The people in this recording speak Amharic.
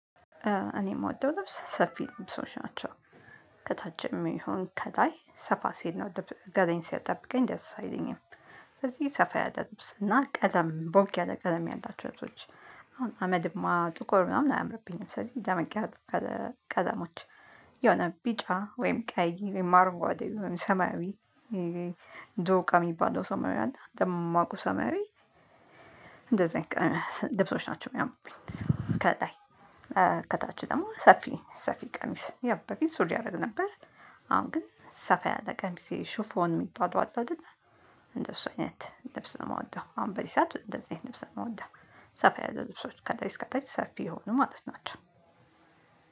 እኔ እምወደው ልብስ ሰፊ ልብሶች ናቸው ከታች የሚሆን ከላይ ሰፋ ሲል ነው ገላዬን ሲጠብቀኝ ደስ አይለኝም። ስለዚህ ሰፋ ያለ ልብስ እና ቀለም ቦግ ያለ ቀለም ያላቸው ልብሶች። አሁን አመድማ ጥቆር ምናምን አያምርብኝም ስለዚህ ደመቅ ያሉት ከለ ቀለሞች። የሆነ ቢጫ ወይም ቀይ ወይም አርጓዴ ወይም ሰማያዊ ዶቃ የሚባለው ሰማያዊ አለ ደማቁ ሰማያዊ። እንደዚ አይነት ቀ ልብሶች ናቸው እሚያምሩብኝ ከላይ። ከታች ደግሞ ሰፊ ሰፊ ቀሚስ ያ በፊት ሱሪ አደርግ ነበር። አሁን ግን ሰፋ ያለ ቀሚስ ይ ሹፎን የሚባለው አለ እደል። እንደሱ አይነት ልብስ ነው እምወደው አሁን በዚ ሰዓት እንደዚ አይነት ልብስ ነው ምወደው። ሰፋ ያለ ልብሶች ከላይ እስከ ታች ሰፊ የሆኑ ማለት ናቸው።